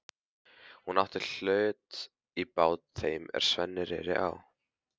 Hún átti hlut í bát þeim er Sveinn reri á.